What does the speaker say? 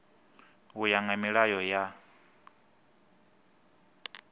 u ya nga milayo ya